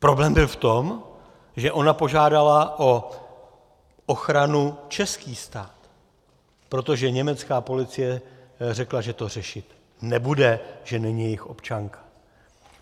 Problém byl v tom, že ona požádala o ochranu český stát, protože německá policie řekla, že to řešit nebude, že není jejich občanka.